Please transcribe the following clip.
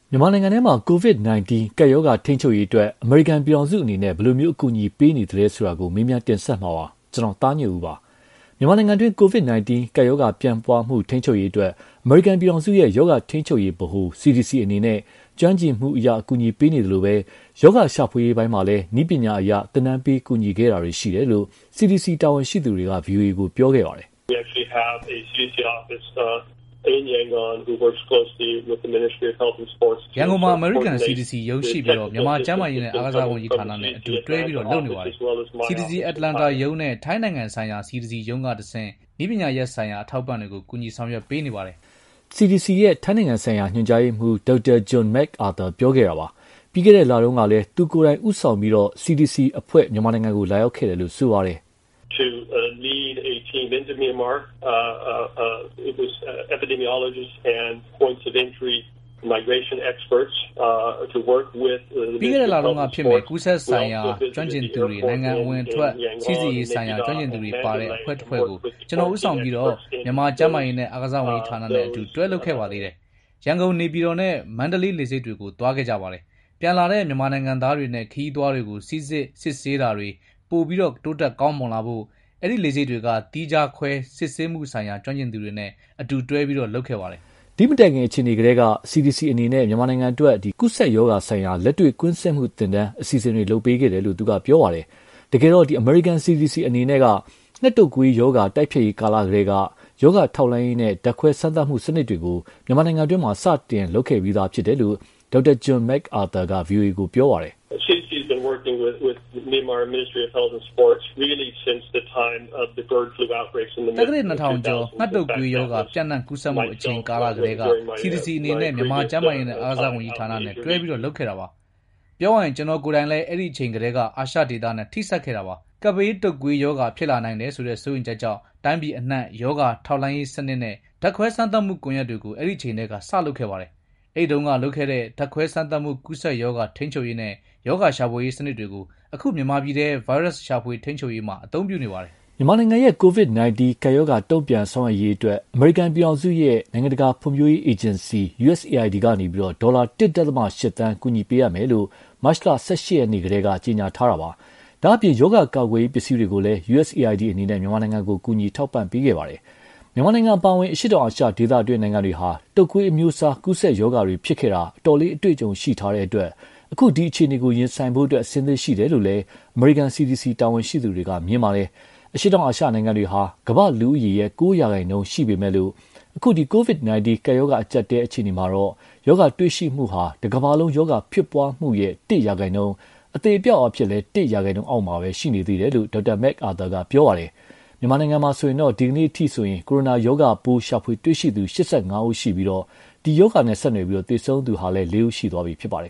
မြန်မာနိုင်ငံမှာ COVID-19 ကပ်ရောဂါထိန်းချုပ်ရေးအတွက် အမေရိကန်ပြည်ထောင်စုအနေနဲ့ ဘယ်လို အကူအညီပေးနေသလဲဆိုတာ ကိုသားညွန့်ဦးက တင်ပြထားပါတယ်။ မြန်မာနိုင်ငံတွင်း COVID-19 ကပ်ရောဂါပျံ့နှံ့မှု ထိန်းချုပ်ရေးအတွက် အမေရိကန်ပြည်ထောင်စုရဲ့ ရောဂါထိန်းချုပ်ရေးဗဟိုဌာန (CDC) အနေနဲ့ ကျွမ်းကျင်မှုအရ အကူအညီပေးနေသလို ရောဂါရှာဖွေရေးတွေမှာလည်း နည်းပညာအရ သင်တန်းပေးကူညီခဲ့တာတွေ ရှိတယ်လို့ CDC တာဝန်ရှိသူတွေက ဗွီအိုအေကိုပြောခဲ့ပါတယ်။ “ရန်ကုန်မှာ အမေရိကန် CDC ရုံး ရှိပြီး မြန်မာကျန်းမာရေးနဲ့ အားကစားဝန်ကြီးဌာနနဲ့ အတူ တွဲလုပ်နေပါတယ်။ CDC အတ္တလန်တာရုံးနဲ့ ထိုင်းနိုင်ငံဆိုင်ရာ CDC ရုံးကတဆင့် နည်းပညာရပ်ဆိုင်ရာအထောက်ပံ့တွေ ကူညီဆောင်ရွက်ပေးနေပါတယ်။” CDC ရဲ့ထိုင်းနိုင်ငံဆိုင်ရာ ညွှန်ကြားရေးမှူး Dr. John MacArthur ပြောခဲ့တာပါ။ ပြီးခဲ့တဲ့လတုန်းကလည်း သူကိုယ်တိုင်ဦးဆောင်ပြီးတော့လည်း CDC အဖွဲ့ မြန်မာနိုင်ငံလာရောက်ခဲ့တယ်လို့ ပြောပါတယ်။ “ကူးစက်ရောဂါဆိုင်ရာ ကျွမ်းကျင်သူတွေ နိုင်ငံအဝင်အထွက် စိစစ်ရေးဆိုင်ရာကျွမ်းကျင်သူတွေပါတဲ့ အဖွဲ့တဖွဲ့ကို ကျနော် ဦးဆောင်ပြီးတော့ မြန်မာကျန်းမာရေးနဲ့အားကစားဝန်ကြီးဌာနနဲ့အတူ တွဲလုပ်ခဲ့သေးတယ်။ ရန်ကုန် နေပြည်တော်နဲ့ မန္တလေးလေဆိပ်တွေကို သွားကြတယ်။ ပြန်လာတဲ့မြန်မာနိုင်ငံသားတွေနဲ့ ခရီးသွားတွေကို စိစစ် စစ်ဆေးတာတွေ ပိုပြီး တိုးတက်ကောင်းမွန်လာဖို့ အဲဒီလေဆိပ်တွေက သီးခြားခွဲစစ်ဆေးမှုဆိုင်ရာ ကျွမ်းကျင်သူတွေနဲ့ အတူ တွဲလုပ်ခဲ့တယ်။” ဒီမတိုင်ခင်အခြေအနေကတည်းက CDC အနေနဲ့ မြန်မာနိုင်ငံအတွက် ကူးစက်ရောဂါဆိုင်ရာလက်တွေ့ ကွင်းဆင်းမှုသင်တန်း အစီအစဉ်တွေ လုပ်ပေးခဲ့တယ်လို့လည်း ပြောပါတယ်။ တကယ်တော့ CDC အနေနဲ့ ငှက်တုပ်ကွေးရောဂါတိုက်ဖျက်ရေးကာလကတည်းက ရောဂါထောက်လှမ်းရေးနဲ့ ဓာတ်ခွဲစမ်းသပ်မှုစနစ်တွေကို မြန်မာနိုင်ငံတွင်း စတင် လုပ်ခဲ့ပြီးသားဖြစ်တယ်လို့ Dr. John MacArthur က ဗွီအိုအေကို ပြောပါတယ်။ “သက္ကရာဇ်နှစ်ထောင်ကျော် ငှက်တုပ်ကွေးရောဂါပျံ့နှံ့ ကူးစက်မှုအချိန်ကလာကတည်းက CDC အနေနဲ့ မြန်မာကျန်းမာရေးနဲ့ အားကစားဝန်ကြီးဌာနနဲ့ တွဲလုပ်ခဲ့တာပါ။ ပြောရရင် ကျနော်ကိုယ်တိုင်လည်း အဲဒီအချိန်ကတည်းက အာရှဒေသနဲ့ထိစပ်ခဲ့တာပါ။ ကပ်ဘေးတုပ်ကွေးရောဂါဖြစ်လာနိုင်တယ်ဆိုတဲ့ စိုးရိမ်ချက်ကြောင့် တိုင်းပြည်အနှံ့ ရောဂါထောက်လှမ်းရေးစနစ်နဲ့ ဓာတ်ခွဲစမ်းသပ်မှု ကွန်ယက်တွေကို အဲဒီအချိန်မှာ စလုပ်ခဲ့ပါတယ်။ အဲဒီတုန်းက လုပ်ခဲ့တဲ့ ဓါတ်ခွဲစမ်းသပ်မှု ကူးစက်ရောဂါထိန်းချုပ်ရေးနဲ့ ရောဂါရှာဖွေရေး စနစ်တွေကို အခု မြန်မာပြည်ထဲ ဗိုင်းရပ်စ် ရှာဖွေထိန်းချုပ်ရေးမှာ အသုံးပြုနေပါတယ်။” မြန်မာနိုင်ငံရဲ့ COVID-19ကပ်ရောဂါတုံ့ပြန်ဆောင်ရွက်ရေးအတွက် အမေရိကန်ပြည်ထောင်စုရဲ့ နိုင်ငံတကာဖွံဖြိုးရေးအေဂျင်စီ (USAID) က ဒေါ်လာ ၁.၈ သန်း ကူညီပေးအပ်မယ်လို့ မတ်လ ၁၈ ရက်နေ့ကတည်းက ကြေညာထားတာပါ။ ဒါ့အပြင် ရောဂါကာကွယ်ရေးပစ္စည်းတွေကိုလည်း USAID အနေနဲ့ မြန်မာနိုင်ငံကို ထောက်ပံ့ကူညီခဲ့ပါတယ်။ မြန်မာနိုင်ငံအပါအဝင် အရှေ့တောင်အာရှဒေသတွင်းနိုင်ငံတွေဟာ တုပ်ကွေးအမျိုးအစား ကူးစက်ရောဂါတွေဖြစ်ခဲ့တာ အတော်လေး အတွေ့အကြုံရှိထားတဲ့အတွက် အခုအခြေအနေကို ရင်ဆိုင်ဖို့ အဆင့်သင့်ရှိတယ်လို့လည်း အမေရိကန် CDC တာဝန်ရှိသူတွေက မြင်ပါတယ်။ အရှေ့တောင်အာရှနိုင်ငံတွေဟာ ကမ္ဘာ့လူဦးရေရဲ့ ၉ ရာခိုင်နှုန်း ရှိပေမဲ့ အခု COVID-19 ကပ်ရောဂါအကြပ်အတည်းအခြေအနေမှာတော့ ရောဂါပိုးတွေ့ရှိမှုဟာ တကမ္ဘာလုံးရောဂါဖြစ်ပွားမှုရဲ့ ၁ ရာခိုင်နှုန်း အသေအပျောက်အားဖြင့်လည်း ၁ ရာခိုင်နှုန်း အောက်မှာ ရှိနေသေးတယ်လို့ Dr. MacArthur က ပြောပါတယ်။ မြန်မာနိုင်ငံမှာတော့ ဒီကနေ့အထိဆို ကိုရိုနာရောဂါပိုးရှာဖွေတွေ့ရှိသူ ၈၅ ဦး ရှိပြီး ဒီရောဂါနဲ့ ဆက်နွယ်ပြီး သေဆုံးသူဟာလည်း လေးဦး ရှိသွားပြီဖြစ်ပါတယ်